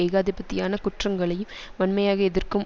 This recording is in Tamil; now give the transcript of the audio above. ஏகாதிபத்தியான குற்றங்களையும் வன்மையாக எதிர்க்கும்